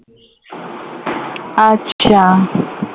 আচ্ছা